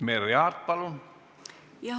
Merry Aart, palun!